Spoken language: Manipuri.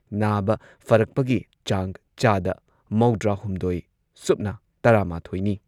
ꯅꯥꯕ ꯐꯔꯛꯄꯒꯤ ꯆꯥꯡ ꯆꯥꯗ ꯃꯧꯗ꯭ꯔꯥꯍꯨꯝꯗꯣꯏ ꯁꯨꯞꯅ ꯇꯔꯥꯃꯥꯊꯣꯏꯅꯤ꯫